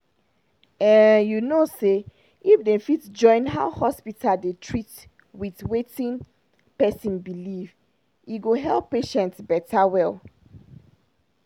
ehnnn you know say if dem fit join how hospital dey treat with wetin person believe e go help patient beta well